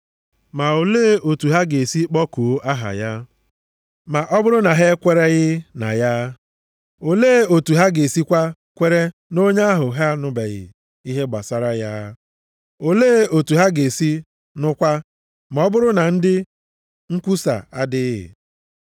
Ma olee otu ha ga-esi kpọkuo aha ya ma ọ bụrụ na ha ekwereghị na ya? Olee otu ha ga-esikwa kwere nʼonye ahụ ha anụbeghị ihe gbasara ya? Olee otu ha ga-esi nụkwa ma ọ bụrụ na ndị nkwusa adịghị?